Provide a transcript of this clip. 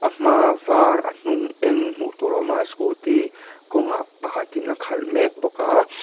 a hma var a hnung eng hmuh tur a awm a scooty kawng ah pakhat in a khalh mek bawk a.